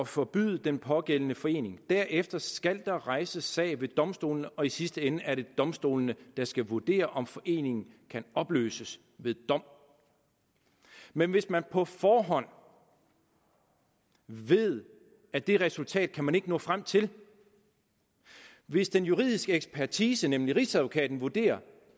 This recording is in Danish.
forbyde den pågældende forening derefter skal der rejses sag ved domstolene og i sidste ende er det domstolene der skal vurdere om foreningen kan opløses ved dom men hvis man på forhånd ved at det resultat kan man ikke nå frem til hvis den juridiske ekspertise nemlig rigsadvokaten vurderer